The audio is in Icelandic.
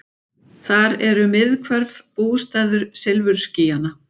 Þar eru miðhvörf, bústaður silfurskýjanna.